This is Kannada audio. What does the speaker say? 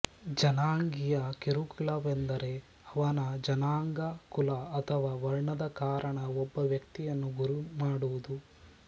ಜನಾಂಗೀಯ ಕಿರುಕುಳವೆಂದರೆ ಅವನ ಜನಾಂಗ ಕುಲ ಅಥವಾ ವರ್ಣದ ಕಾರಣ ಒಬ್ಬ ವ್ಯಕ್ತಿಯನ್ನು ಗುರಿಮಾಡುವುದು